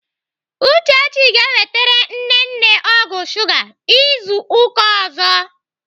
Uchechi ga-ewetere nne nne ọgwụ shuga izu ụka ọzọ.